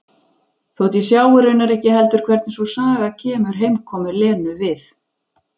Þótt ég sjái raunar ekki heldur hvernig sú saga kemur heimkomu Lenu við.